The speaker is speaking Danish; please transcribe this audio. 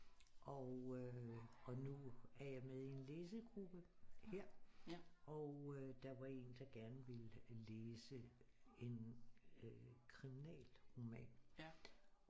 Og øh og nu er jeg med i en læsegruppe her og øh der var en der gerne ville læse en øh kriminalroman